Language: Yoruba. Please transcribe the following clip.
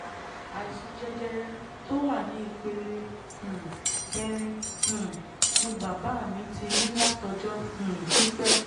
àìsàn jẹjẹrẹ tó wà ní ìpele um kẹrin um ni bàbá mi ti ní látọjọ́ um pípẹ́